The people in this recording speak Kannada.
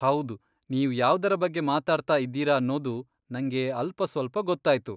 ಹೌದು, ನೀವು ಯಾವ್ದರ ಬಗ್ಗೆ ಮಾತಾಡ್ತಾ ಇದ್ದೀರ ಅನ್ನೋದು ನಂಗೆ ಅಲ್ಪಸ್ವಲ್ಪ ಗೊತ್ತಾಯ್ತು.